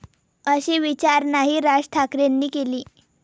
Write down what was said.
अशी विचारणाही राज ठाकरेंनी केली.